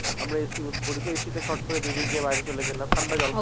আমরা A. C করি তো A. C তে ফোট্ করে বেরিয়ে গিয়ে বাইরে চলে গেলাম ঠান্ডা জল খেলাম